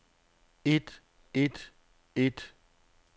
et et et